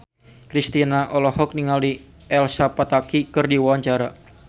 Kristina olohok ningali Elsa Pataky keur diwawancara